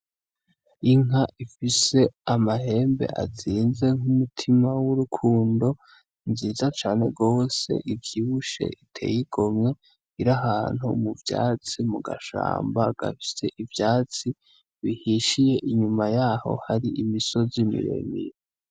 Inka ifise amahembe azinze nk'umurima w'urukundo. Nziza cane gose ivyibushe Iteye igomwe iri ahantu mugashamba gafise ivyatsi bihishiye inyuma yaho Hari imisozi miremire.